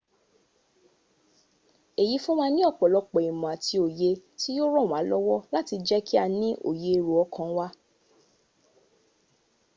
èyí fún wa ní ọ̀pọ̀lọpọ̀ ìmọ̀ àti òye tí yóò ràn wá lọ́wọ́ láti jẹ́ kí a ní òye èrò ọkàn wa